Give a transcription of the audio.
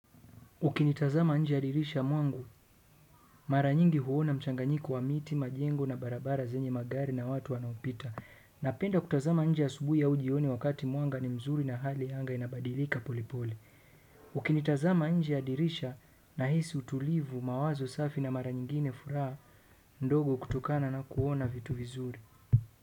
Ukitazama nje ya dirisha mwangu, mara nyingi huona mchanganyiko wa miti, majengo na barabara zenye magari na watu wanaopita. Napenda kutazama nje asubuhi au jioni wakati mwanga ni mzuri na hali ya anga inabadilika polepole. Ukinitazama nje ya dirisha nahisi utulivu mawazo safi na mara nyingine furaha ndogo kutukana na kuona vitu vizuri.